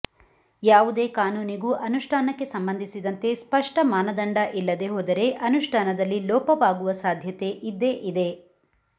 ಯಾವುದೇ ಕಾನೂನಿಗೂ ಅನುಷ್ಠಾನಕ್ಕೆ ಸಂಬಂಧಿಸಿದಂತೆ ಸ್ಪಷ್ಟ ಮಾನದಂಡ ಇಲ್ಲದೇ ಹೋದರೆ ಅನುಷ್ಠಾನದಲ್ಲಿ ಲೋಪವಾಗುವ ಸಾಧ್ಯತೆ ಇದ್ದೇ ಇದೆ